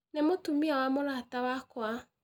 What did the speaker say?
Nĩ mũtumia wa mũrata wakwa.